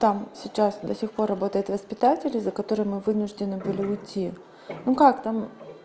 там сейчас до сих пор работает воспитатель из-за которой мы вынуждены были уйти ну как там